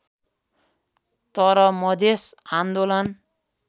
तर मधेस आन्दोलन